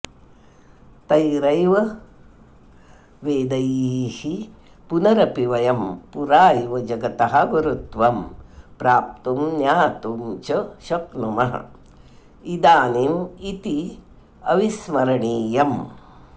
तैरैव वेदैः पुनरपि वयं पुरा इव जगतः गुरुत्वं प्राप्तुं ज्ञातु च शक्नुमः इदानीमित्यविस्मरणीयम्